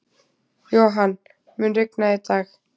Johan, mun rigna í dag?